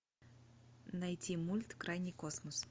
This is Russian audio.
найти мульт крайний космос